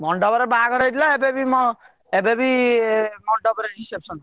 ମଣ୍ଡପରେ ବାହାଘର ହେଇଥିଲା ଏବେ ବି ମୋ ଏବେ ବି ମଣ୍ଡପରେ reception ।